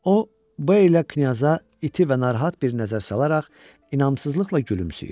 O B ilə knyaza iti və narahat bir nəzər salaraq inamsızlıqla gülümsəyir.